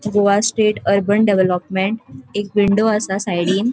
Goa state urban development एक window आसा सायडीन .